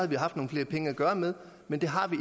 vi haft nogle flere penge at gøre med men det har vi